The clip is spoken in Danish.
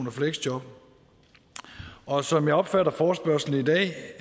og fleksjob og som jeg opfatter forespørgslen i dag